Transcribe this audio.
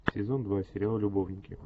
сезон два сериал любовники